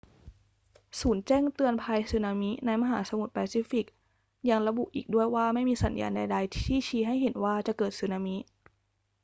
ศูนย์แจ้งเตือนภัยสึนามิในมหาสมุทรแปซิฟิกยังระบุอีกด้วยว่าไม่มีสัญญาณใด ๆ ที่ชี้ให้เห็นว่าจะเกิดสึนามิ